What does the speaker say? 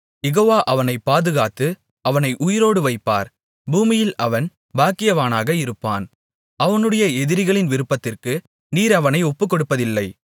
யெகோவா அவனைப் பாதுகாத்து அவனை உயிரோடு வைப்பார் பூமியில் அவன் பாக்கியவானாக இருப்பான் அவனுடைய எதிரிகளின் விருப்பத்திற்கு நீர் அவனை ஒப்புக்கொடுப்பதில்லை